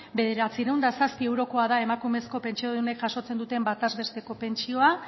bederatziehun eta zazpi eurokoa da emakumezko pentsiodunek jasotzen duten bataz besteko pentsioa